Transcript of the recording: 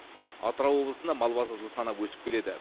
атырау облысында мал басы жыл санап өсіп келеді